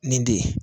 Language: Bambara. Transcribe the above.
Nin de ye